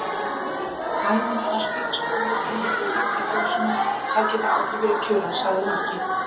Hænurnar spígsporuðu inn og út í fjósinu, þær geta aldrei verið kjurar, sagði Maggi.